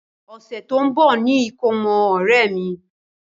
Ọ̀sẹ̀ tó ń bá ni ìkómọ ọ̀rẹ́ mi.